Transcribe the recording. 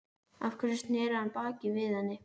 Af hverju sneri hann baki við henni?